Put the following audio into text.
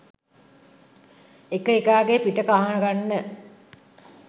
එක එකාගෙ පිට කහගන්න